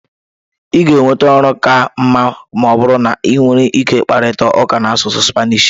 ị ga-enweta ọrụ ka mma ma ọ bụrụ na ị nwere ike ịkparịta ụka n'asụsụ Spanish